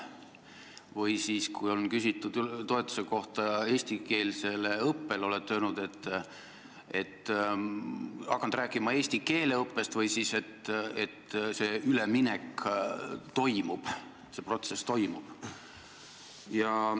Või siis, kui on küsitud eestikeelse õppe toetuse kohta, olete te hakanud rääkima eesti keele õppest või öelnud, et see üleminek toimub, see protsess toimub.